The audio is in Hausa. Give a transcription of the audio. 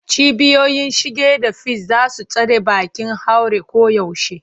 Cibiyoyin shige da fice za su tsare bakin haure koyaushe.